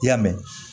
I y'a mɛn